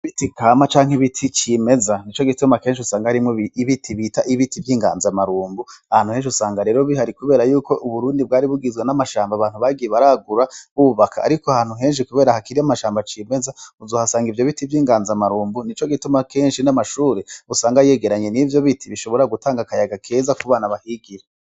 Ibiti kama canke ibiti cimeza, nico gituma kenshi usanga harimwo ibiti bita ibiti vy'inganzamarumbu, ahantu henshi usanga rero bihari kubera yuko Uburundi bwari bugizwe n'amashamba abantu bagiye baragura bubaka, ariko ahantu henshi kubera hakiri amashamba cimeza uzohasanga ivyo biti vy'inganzamarumbu, nico gituma kenshi n'amashure usanga yegeranye n'ivyo biti bishobora gutanga akayaga keza ku bana bahigira.